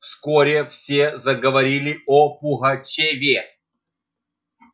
вскоре все заговорили о пугачёве